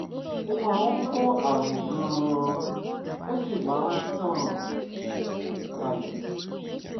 ó máa ń kó àrùn gan-an ó sì máa ń tàn kálẹ̀